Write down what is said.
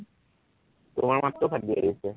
তোমাৰ মাতটোও ফাটি আহিছে